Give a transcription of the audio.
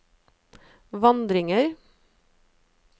vandringer